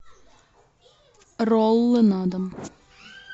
роллы на дом